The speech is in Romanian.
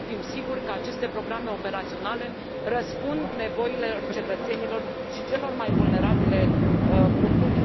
Trebuie să fim siguri că aceste programe operaționale răspund nevoilor cetățenilor și celor mai vulnerabile grupuri.